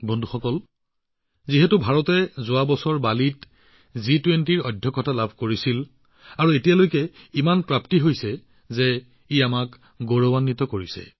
বন্ধুসকল যোৱা বছৰ বালিত ভাৰতে জি২০ৰ অধ্যক্ষতাৰ দায়িত্ব লোৱাৰ পিছৰে পৰা ইমানবোৰ আলোচনা সফলভাৱে অনুষ্ঠিত হৈছে যি আমাক গৌৰৱেৰে ভৰাই তোলে